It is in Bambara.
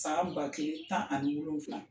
san ba kelen tan ani wolonwula